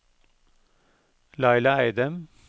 Laila Eidem